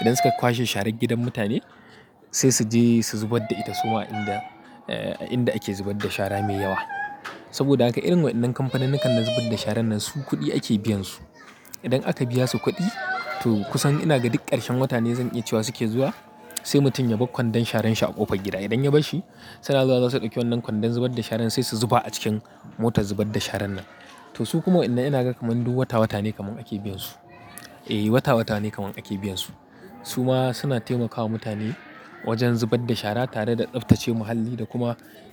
Idan suka kwashe sharan gidan mutane sai su je su zubar da ita su ma a inda, a inda ake zubar da shara mai yawa. Saboda haka irin waɗannan kamfaninnikan na zubar da sharan nan su kuɗi ake biyan su. Idan aka biya su kuɗi, to kusan ina ga duk ƙarshen wata ne zan iya cewa suke zuwa, sai mutum ya bar kwandon sharan shi a ƙofar gida. Idan ya barshi, suna zuwa za su ɗauki wannan kwandon zubar da sharan sai su zuba a cikin motar zubar da sharan nan. To su kuma waƴannan ina ga kamar duk wata-wata ne kaman ake biyan su. Eh wata-wata ne kaman ake biyan su. Su ma suna taimakawa mutane wajen zubar da shara tare da tsaftace muhalli da kuma.